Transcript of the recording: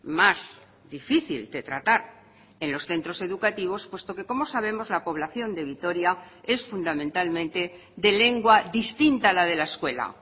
más difícil de tratar en los centros educativos puesto que como sabemos la población de vitoria es fundamentalmente de lengua distinta a la de la escuela